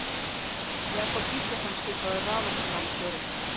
Jakob Gíslason skipaður raforkumálastjóri.